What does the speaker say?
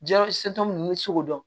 Jirɛsitɔ ninnu bɛ sogo dɔn